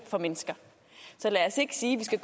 for mennesker så lad os ikke sige